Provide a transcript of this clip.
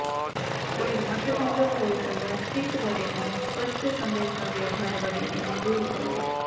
કોઈ મતભેદો હોય તો વાતચીત વડે અને સ્પષ્ટ સંદેશવ્યવહાર વડે એને દૂર કરો